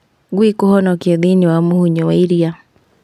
Ngui kũhonokio thĩinĩ wa mũhũyũ wa iria